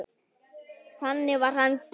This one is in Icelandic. Þannig var hann gerður.